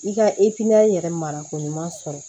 I ka yɛrɛ marako ɲuman sɔrɔ